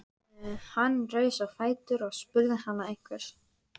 Hann reis á fætur og spurði hana einhvers.